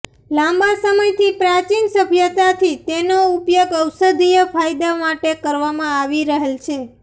લાંબા સમયથી પ્રાચીન સભ્યતાથી તેનો ઉપયોગ ઔષધીય ફાયદા માટે કરવામાં આવી રહેલ છે